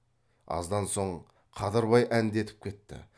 аздан соң қадырбай әндетіп кетті